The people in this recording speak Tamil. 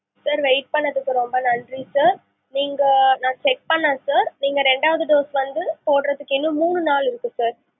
sir wait பண்ணுனதுக்கு ரொம்ப நன்றி sir நீங்க நான் check பண்ணுனேன் sir நீங்க ரெண்டாவது dose வந்து போடுறதுக்கு இன்னும் மூணு நாள் இருக்கு sir